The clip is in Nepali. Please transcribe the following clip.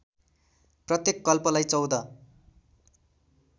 प्रत्येक कल्पलाई १४